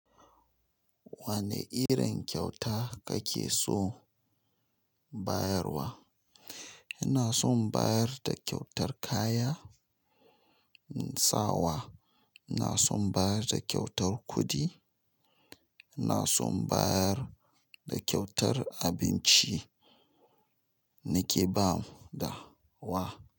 Wane irin kyauta kake so bayarwa? Ina son bayar da kyautar kaya, sawa ina son bayar da kyautar kuɗi, ina son bayar da kyautar abinci nike bawa da wa.